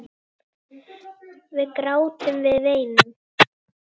Við grátum, við veinum.